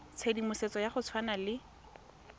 tshedimosetso ya go tshwana le